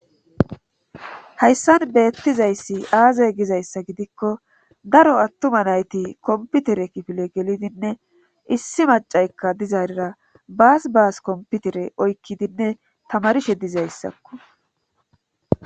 Hayssan beettizayssi aazay gizayssa gidikko daro attuma nayti komputere kifile gelidinne issi macaykka dizaarira baas baas komputere oykkidinne tamarishe dizayssakko.